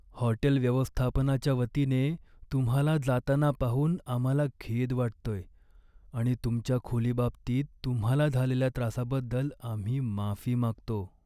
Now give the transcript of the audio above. Hotel व्यवस्थापनाच्या वतीने, तुम्हाला जाताना पाहून आम्हाला खेद वाटतोय आणि तुमच्या खोलीबाबतीत तुम्हाला झालेल्या त्रासाबद्दल आम्ही माफी मागतो.